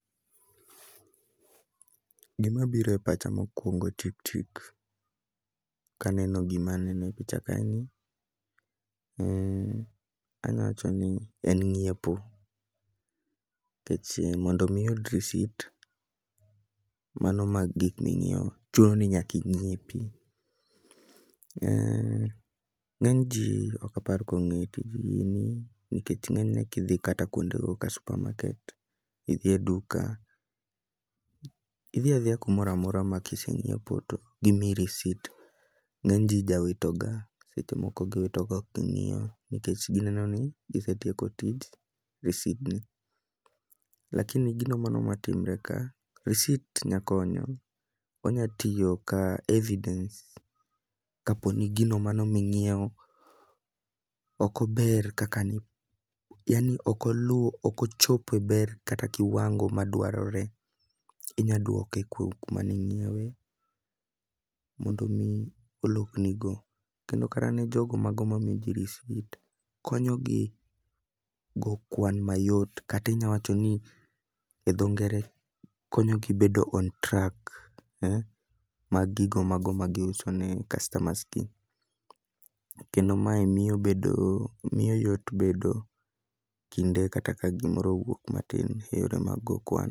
Gima biro e pacha mokwongo tik tik kaneno gima aneno e picha kaeni. Anya wacho ni en ng'iepo, kech mondo mi iyud risit mano mag gik ming'iewo, chuno ni nyaki ng'iepi. Ng'eny ji okapar kong'e tij gini nikech ng'enyne kidhi kata kuondego ka supermarket, idhi e duka. Idhi adhiya kumora mora ma kiseng'iepo to gimiyi risit, ng'eny ji jawito ga. Seche moko giwito kok ging'iyo nikech gineno ni gisetieko tich risidni. Lakini gino mano matimre ka, risit nya konyo. Onya tiyo ka evidence kapo ni gino mano ming'iewo okober kaka ni yani okoluwo okochopo e ber kata kiwango ma dwarore. Inya dwoke kuom kuma ning'iewe, mondo mi olokni go. Kendo kata ne jogo mago ma miji risit konyogi go kwan mayot, katinya wacho ni e dho ngere konyogi bedo on track. Mag gigo mago ma giuso ne customers gi, kendo mae miyo bedo miyo yot bedo kinde kata ka gimoro owuok matin, iyudo mag go kwan.